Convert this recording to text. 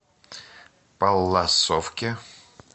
палласовке